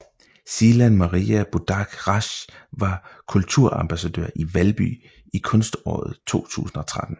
Silan Maria Budak Rasch var kulturambassadør i Valby i Kunståret 2013